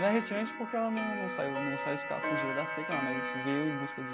Não é retirante porque ela num num saiu num saiu fugida da seca lá, mas veio em busca de...